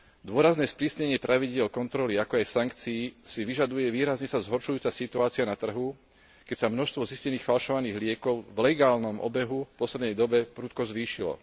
Dôrazné sprísnenie pravidiel kontroly, ako aj sankcií si vyžaduje výrazne sa zhoršujúca situácia na trhu, keď sa množstvo zistených falšovaných liekov v legálnom obehu v poslednej dobe prudko zvýšilo.